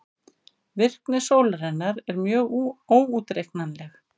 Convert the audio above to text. Virkni sólarinnar er mjög óútreiknanleg.